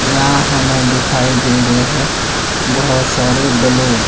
यहां हमें दिखाई दे रहे हैं बहोत सारे बैलून --